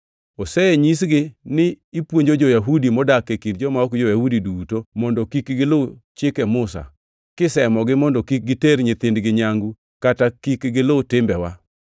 Osenyisgi ni ipuonjo jo-Yahudi modak e kind joma ok jo-Yahudi duto mondo kik gilu Chike Musa, kisemogi mondo kik giter nyithindgi nyangu kata kik gilu timbewa.